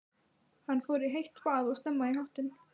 Hann fór í heitt bað og snemma í háttinn.